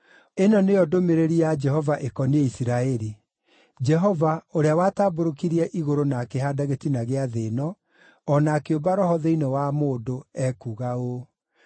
Ĩno nĩyo ndũmĩrĩri ya Jehova ĩkoniĩ Isiraeli. Jehova, ũrĩa watambũrũkirie igũrũ, na akĩhaanda gĩtina gĩa thĩ ĩno, o na akĩũmba roho thĩinĩ wa mũndũ, ekuuga ũũ: